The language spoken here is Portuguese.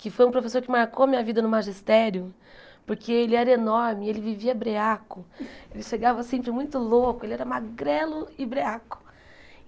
que foi um professor que marcou minha vida no magistério, porque ele era enorme, ele vivia breaco, ele chegava sempre muito louco, ele era magrelo e breaco.